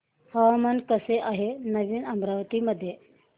हवामान कसे आहे नवीन अमरावती मध्ये